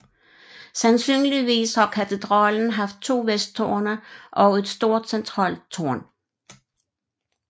Sandsynligvis har katedralen haft to vesttårne og et stort centralt tårn